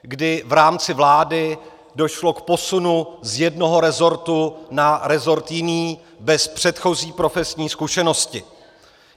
Kdy v rámci vlády došlo k posunu z jednoho resortu na resort jiný bez předchozí profesní zkušenosti.